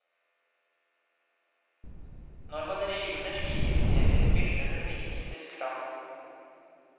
Når man river ned slike imperier, myldrer det mye mystisk fram.